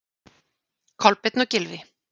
Kolbeinn og Gylfi.